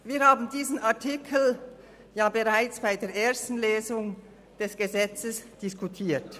Wir haben diesen Artikel bereits während der ersten Lesung des Gesetzes diskutiert.